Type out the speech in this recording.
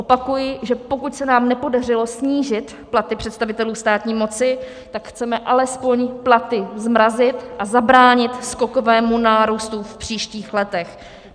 Opakuji, že pokud se nám nepodařilo snížit platy představitelů státní moci, tak chceme alespoň platy zmrazit a zabránit skokovému nárůstu v příštích letech.